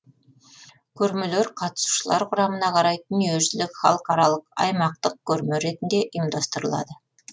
көрмелер қатысушылар құрамына қарай дүниежүзілік халықаралық аймақтық көрме ретінде ұйымдастырылады